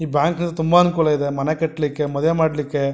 ಈ ಬ್ಯಾಂಕಿನಲ್ಲಿ ತುಂಬಾ ಅನುಕೂಲ ಇದೆ ಮನೆ ಕಟ್ಟಲಿಕ್ಕೆ ಮದುವೆ ಮಾಡಲಿಕ್ಕೆ --